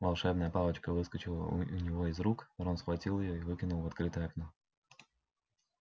волшебная палочка выскочила у него из рук рон схватил её и выкинул в открытое окно